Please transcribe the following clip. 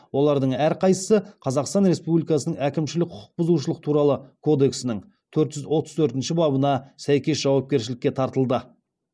олардың әрқайсысы қазақстан республикасының әкімшілік құқық бұзушылық туралы кодексінің төрт жүз отыз төртінші бабына сәйкес жауапкершілікке тартылды